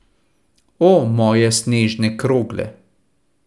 O, moje snežne krogle.